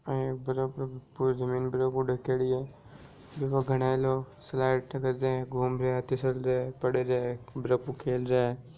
आ एक बर्फ पूरी जमीन बर्फ हु ढखयोड़ी है बीमे घना लोग स्लाइड कर रहिया है घूम रहिया है तिसल रहिया है पड़ रहिया है बर्फ हु खेल रहिया है।